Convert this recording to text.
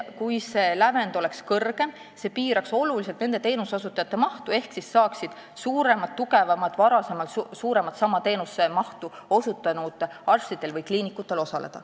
Kui see lävend oleks kõrgem, piiraks see oluliselt teenuseosutajate arvu ehk siis saaksid osaleda suuremad ja tugevamad, varem suuremas mahus samu teenuseid osutanud arstid või kliinikud.